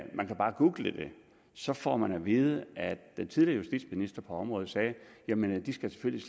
man kan bare google det så får man at vide at den tidligere justitsminister på området sagde jamen de skal selvfølgelig